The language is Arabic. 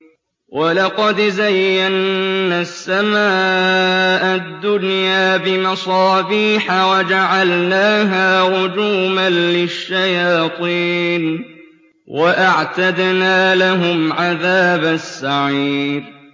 وَلَقَدْ زَيَّنَّا السَّمَاءَ الدُّنْيَا بِمَصَابِيحَ وَجَعَلْنَاهَا رُجُومًا لِّلشَّيَاطِينِ ۖ وَأَعْتَدْنَا لَهُمْ عَذَابَ السَّعِيرِ